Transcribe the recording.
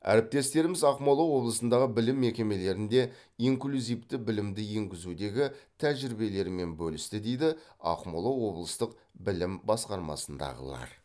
әріптестеріміз ақмола облысындағы білім мекемелерінде инклюзивті білімді енгізудегі тәжірибелерімен бөлісті дейді ақмола облыстық білім басқармасындағылар